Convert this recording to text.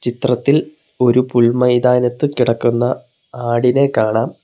ചിത്രത്തിൽ ഒരു പുൽമൈതാനത്ത് കിടക്കുന്ന ആടിനെ കാണാം.